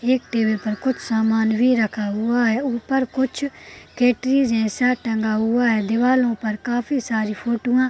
एक टेबल पर कुछ सामान भी रखा हुआ है ऊपर कुछ केटली जैसा टंगा हुआ है दिवार ऊपर काफी सारे फोटुवा --